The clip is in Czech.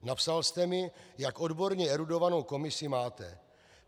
Napsal jste mi, jak odborně erudovanou komisi máte.